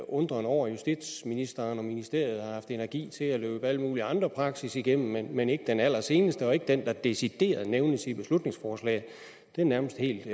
undren over at justitsministeren og ministeriet har haft energi til at løbe alle mulige andre praksis igennem men ikke den allerseneste og ikke den der decideret nævnes i beslutningsforslaget det er nærmest helt